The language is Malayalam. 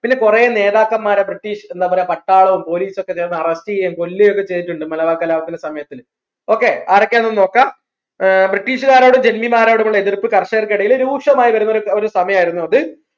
ഇതിന് കുറെ നേതാക്കന്മാർ British എന്താ പറയാ പട്ടാളവും പോലീസും ഒക്കെ arrest ചെയ്യേ കൊല്ലും ചെയ്തിട്ടുണ്ട് മലബാർ കലാപത്തിന്റെ സമയത്ത് okay ആരൊക്കെയാണെന്ന് നോക്കാം ഏർ British കാരോടും ജെന്നിരോടും കൂടി എതിർപ്പ് കർഷകർക്കിടയിൽ രൂക്ഷമായി വരുന്ന ഒരു ഒരു സമയമായിരുന്നു അത്